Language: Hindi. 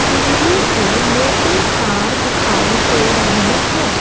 बिजली के मोटे तार दिखाई दे रहे हैं।